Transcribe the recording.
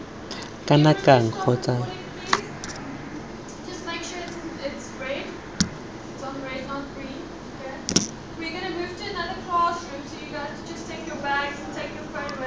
kana kang kgotsa lebaka lengwe